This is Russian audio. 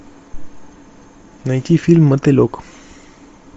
найти фильм мотылек